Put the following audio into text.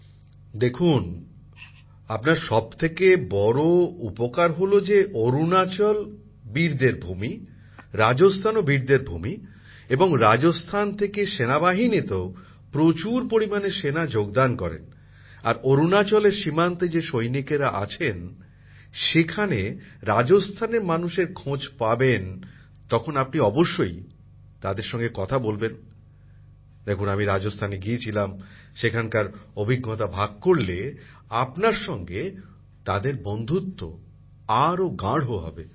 প্রধানমন্ত্রী জীঃ দেখুন আপনার সব থেকে বড় লাভ হল যে অরুণাচল বীরদের ভূমি রাজস্থানও বীরদের ভূমি এবং রাজস্থান থেকে সেনাবাহিনীতেও প্রচুর পরিমাণে সেনা যোগদান করেন আর অরুণাচলের সীমান্তে যে সৈনিকেরা আছেন সেখানে রাজস্থানের মানুষের খোঁজ পাবেন তখন আপনি অবশ্যই তাঁদের সঙ্গে কথা বলবেন দেখুন আমি রাজস্থানে গিয়েছিলাম সেখানকার অভিজ্ঞতা ভাগ করলে আপনার সঙ্গে তাদের বন্ধুত্ব আরো গাঢ় হবে